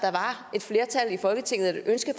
et flertal i folketinget og et ønske